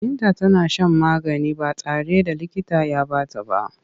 Binta tana shan magani ba tare da likita ya ba ta ba.